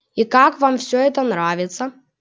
и как вам всё это нравится